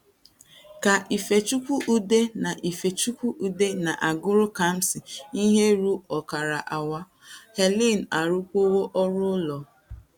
Ka Ifechukwude na - Ifechukwude na - agụrụ Kamsi ihe ruo ọkara awa, Helen arụkwuo ọrụ ụlọ.